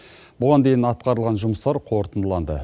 бұған дейін атқарылған жұмыстар қорытындыланды